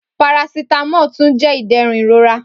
Paracetamol tun jẹ iderun irora